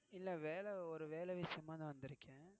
இல்ல வேல, ஒரு வேல விஷயமா தான் வந்திருக்கேன்.